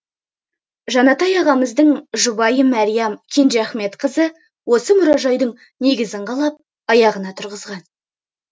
жанатай ағамыздың жұбайы мәриям кенжеахметқызы осы мұражайдың негізін қалап аяғына тұрғызған